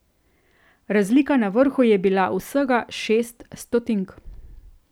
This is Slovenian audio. Razlika na vrhu je bila vsega šest stotink.